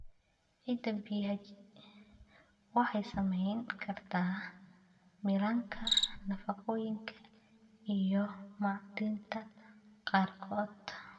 Ciidda pH waxay saamayn kartaa milanka nafaqooyinka iyo macdanta qaarkood.